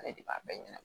Ale de b'a bɛɛ ɲana